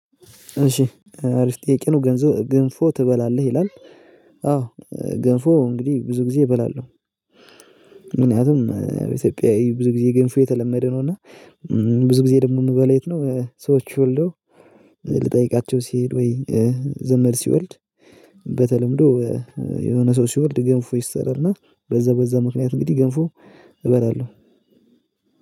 እሺ አሪፍ ጥያቄ ነው ገንፎ ትበላለህ ይላል? አዎ ገንፎ እንግዲህ ብዙ ጊዜ እበላለሁ። ምክንያቱም ኢትዮጵያዊ ብዙ ጊዜ ገንፎ የተለመደ ነው። እና ብዙ ጊዜ ደግሞ የምበላው የት ነው? ሰዎች ወልደው ልጠይቃቸው ሲሄድ ወይ? ዘመድ ሲወልድ በተለምዶ የሆነ ሰው ሲወልድ ገንፎ ይሰራልና በዛ በዛ ምክንያት እንግዲህ ገንፎ እበላለሁ።